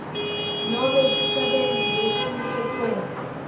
nobe sisebenti lesiniketwe